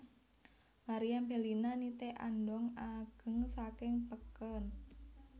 Meriam Bellina nitih andhong ageng saking peken